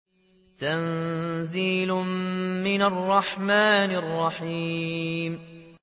تَنزِيلٌ مِّنَ الرَّحْمَٰنِ الرَّحِيمِ